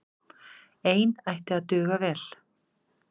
Ein ætti að duga vel.